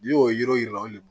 N'i y'o ye